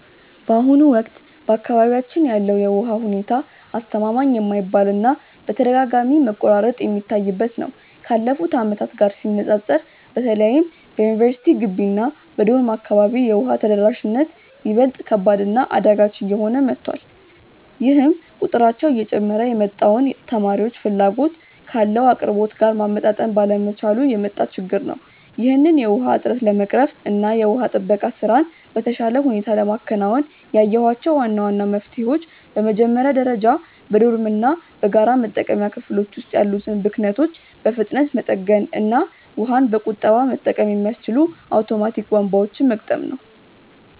በአሁኑ ወቅት በአካባቢያችን ያለው የውሃ ሁኔታ አስተማማኝ የማይባል እና በተደጋጋሚ መቆራረጥ የሚታይበት ነው። ካለፉት ዓመታት ጋር ሲነፃፀር በተለይም በዩኒቨርሲቲ ግቢ እና በዶርም አካባቢ የውሃ ተደራሽነት ይበልጥ ከባድ እና አዳጋች እየሆነ መጥቷል፤ ይህም ቁጥራቸው እየጨመረ የመጣውን ተማሪዎች ፍላጎት ካለው አቅርቦት ጋር ማመጣጠን ባለመቻሉ የመጣ ችግር ነው። ይህንን የውሃ እጥረት ለመቅረፍ እና የውሃ ጥበቃ ስራን በተሻለ ሁኔታ ለማከናወን ያየኋቸው ዋና ዋና መፍትሄዎች በመጀመሪያ ደረጃ በዶርሞች እና በጋራ መጠቀሚያ ክፍሎች ውስጥ ያሉትን ብክነቶች በፍጥነት መጠገን እና ውሃን በቁጠባ መጠቀም የሚያስችሉ አውቶማቲክ ቧንቧዎችን መግጠም ነው።